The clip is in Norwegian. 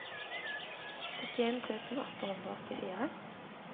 syttien tusen åtte hundre og åttifire